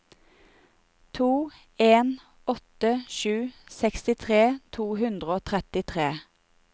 to en åtte sju sekstitre to hundre og trettitre